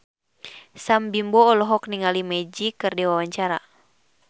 Sam Bimbo olohok ningali Magic keur diwawancara